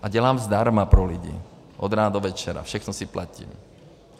A dělám zdarma pro lidi, od rána do večera, všechno si platím.